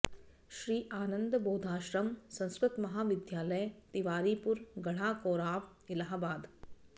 Shri Anand Bodhashram Sanskrit Mahavidyalaya Tiwaripur Garha Koraon Allahabad